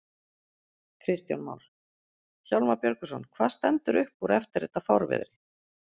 Kristján Már: Hjálmar Björgvinsson, hvað stendur upp úr eftir þetta fárviðri?